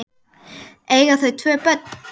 Eiga þau tvö börn.